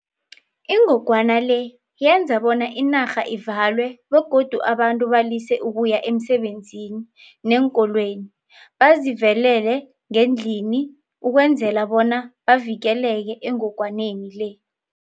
Ingogwana le yenza bona inarha ivalwe begodu abantu balise ukuya emisebenzini neenkolweni bazivelele ngendlini ukwenzela bona bavikeleke engongwaneni le.